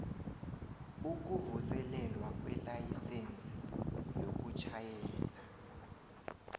ukuvuselelwa kwelayisense yokutjhayela